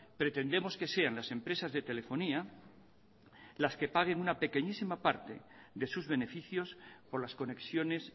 pretendemos que sean las empresas de telefonía las que paguen una pequeñísima parte de sus beneficios por las conexiones